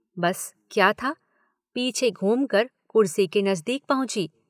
बस क्या था। पीछे घूम कर कुर्सी के नज़दीक पहुंची।